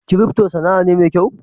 "crypto" Sana'a mai kyau me?